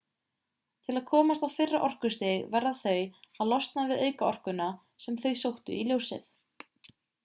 til að komast á fyrra orkustig verða þau að losna við aukaorkuna sem þau sóttu í ljósið